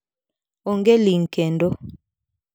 "Onge ling kendo"